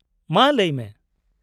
- ᱢᱟ ᱞᱟᱹᱭᱢᱮ ᱾